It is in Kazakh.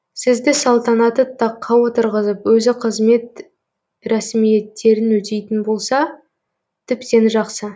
сізді салтанатты таққа отырғызып өзі қызмет рәсімиеттерін өтейтін болса тіптен жақсы